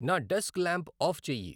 నా desk lamp off చెయ్యి